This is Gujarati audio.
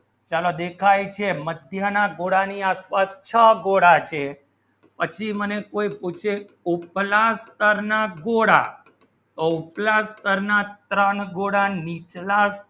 ચાલો દિખાય છે મધ્યની ગોળા ની તર છ ગોળા છે પછી મને પૂછે ઊચલા સ્તર ના ગોળા તો ઊચલા સ્તર ના ત્રણ ગોળા નીચલા